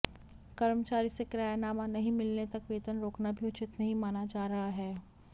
कर्मचारी से किरायानामा नहीं मिलने तक वेतन रोकना भी उचित नहीं माना जा रहा है